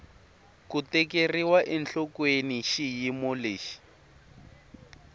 ku tekeriwa enhlokweni xiyimo lexi